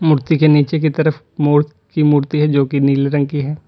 कुर्ती के नीचे की तरफ मोर की मूर्ति है जो कि नीले रंग की है।